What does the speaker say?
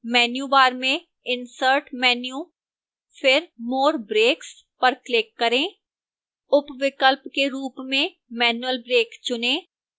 menu bar में insert menu फिर more breaks पर click करें उपविकल्प के रूप में manual break चुनें